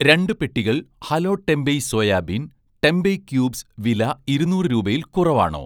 രണ്ട് പെട്ടികൾ hello tempeh soybean tempeh cubes വില ഇരുന്നൂറ് രൂപയിൽ കുറവാണോ